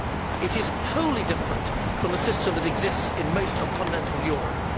It is wholly different from the system which exists in most of continental Europe.